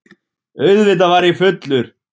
Auðvitað var ég fullur.